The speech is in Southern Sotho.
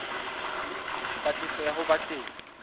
patlisiso ya ho ba teng